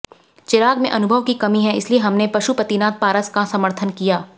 चिराग में अनुभव की कमी है इसलिए हमने पशुपतिनाथ पारस का समर्थन किया